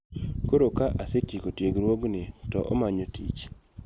Koro ka asetieko tiegruogni, to omanyo tich